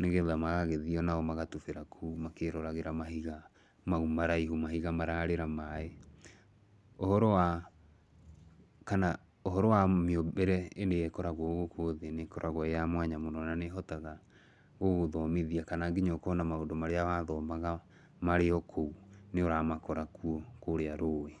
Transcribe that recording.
nĩgetha magagĩthi onao magatubĩra kũu makĩroragĩra mahiga mau maraihu, mahiga mararĩra maaĩ. Ũhoro wa, kana ũhoro wa mĩũmbĩre ĩrĩa ĩkoragwo gũkũ thĩ nĩ ĩkoragwo ĩĩ ya mwanya mũno, na nĩ ĩhotaga gũgũthomithia, kana nginya ũkona maũndũ marĩa wathomaga marĩ o kũu, nĩ ũramakora kuo kũũrĩa rũũĩ.